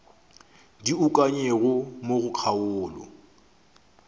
di ukangwego mo go kgaolo